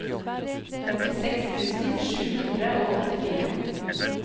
femtiseks tusen sju hundre og åttifire